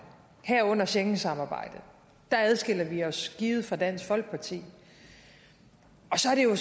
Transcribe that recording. herunder schengensamarbejdet der adskiller vi os givet fra dansk folkeparti og så er det jo